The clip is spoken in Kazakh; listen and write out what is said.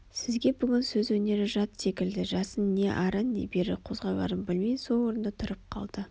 сізге бүгін сөз өнері жат секілді жасын не ары не бері қозғаларын білмей сол орнында тұрып қалды